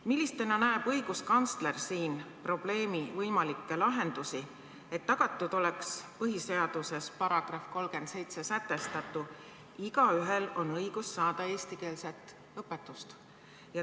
Millisena näeb õiguskantsler siin probleemi võimalikke lahendusi, et tagatud oleks põhiseaduse §-s 37 sätestatu, et igaühel on õigus saada eestikeelset õpetust?